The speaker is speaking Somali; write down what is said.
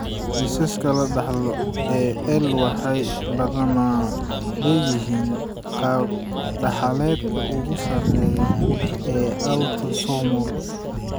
Kiisaska la dhaxlo ee EI waxay badanaa leeyihiin qaab-dhaxaleedka ugu sarreeya ee autosomal.